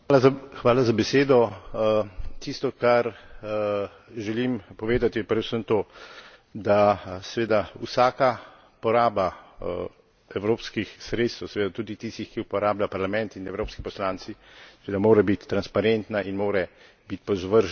Tisto kar želim povedati, je predvsem to, da seveda vsaka poraba evropskih sredstev seveda tudi tistih, ki jih uporablja Parlament in evropski poslanci seveda mora biti transparentna in mora biti podvržena ustreznemu nadzoru.